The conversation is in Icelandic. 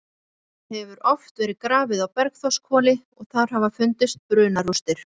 Það hefur oft verið grafið á Bergþórshvoli og þar hafa fundist brunarústir.